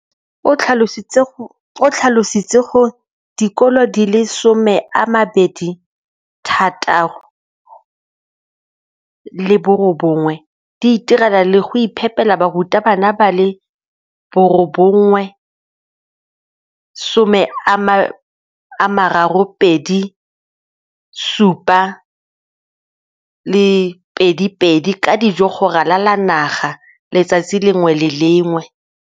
o tlhalositse gore dikolo di le 20 619 di itirela le go iphepela barutwana ba le 9 032 622 ka dijo go ralala naga letsatsi le lengwe le le lengwe.